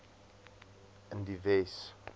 in die wes